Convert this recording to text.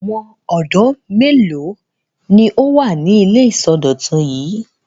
Àwọn ọ̀dọ́ mélòó ni ó wà ní ilé ìsọdọ̀tun yìí?